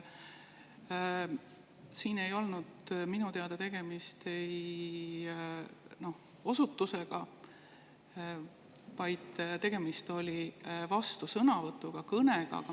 Minu teada ei olnud siin tegemist osutusega, vaid tegemist oli vastusõnavõtuga, kõnega.